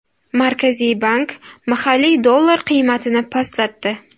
Markaziy bank mahalliy dollar qiymatini pastlatdi.